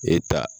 E ta